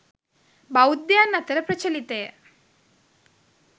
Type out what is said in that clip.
බෞද්ධයන් අතර ප්‍රචලිතය.